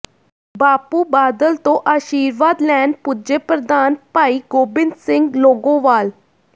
ਬਾਪੂ ਬਾਦਲ ਤੋਂ ਆਸ਼ੀਰਵਾਦ ਲੈਣ ਪੁੱਜੇ ਪ੍ਰਧਾਨ ਭਾਈ ਗੋਬਿੰਦ ਸਿੰਘ ਲੌਾਗੋਵਾਲ